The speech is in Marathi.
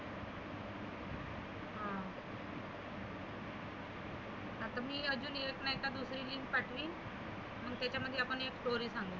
आपली अजुन येत नाही दुसरी पाठविन मग त्याच्यामध्ये आपण दोन घालु.